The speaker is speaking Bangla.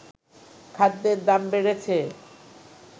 খাদ্যের দাম বেড়েছে